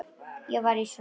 Ég var í sorg.